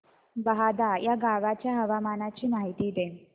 बहादा या गावाच्या हवामानाची माहिती दे